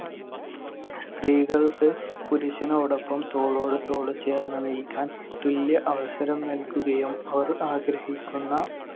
സ്ത്രീകൾക്ക് പുരുഷനോടൊപ്പം തോളോട് തോൾ ചേർന്ന് നിൽക്കാൻ തുല്യ അവസരം നൽകുകയും അവർ ആഗ്രഹിക്കുന്ന